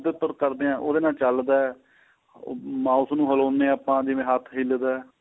ਉਹਦੇ ਉਪਰ ਕਰਦਿਆਂ ਉਹਦੇ ਨਾਲ ਚੱਲਦਾ ਉਹ mouse ਨੂੰ ਹਲਾਉਦੇ ਹਾਂ ਆਪਾਂ ਜਿਵੇਂ ਹੱਥ ਹਿਲਦਾ